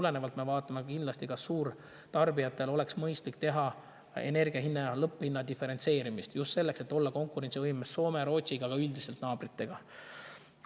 Ja seetõttu me vaatame kindlasti, kas suurtarbijatele oleks mõistlik teha energia lõpphinna diferentseerimist, just selleks, et olla Soome ja Rootsi, aga ka üldiselt naabrite kõrval konkurentsivõimeline.